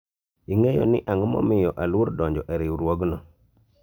ing'eyo ni ang'o momiyo aluor donjo e riwruogno ?